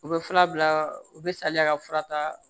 U bɛ fura bila u bɛ saliya ka fura ta